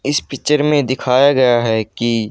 इस पिक्चर में दिखाया गया है कि--